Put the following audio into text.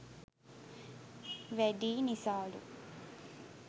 වැඩියි නිසාලු.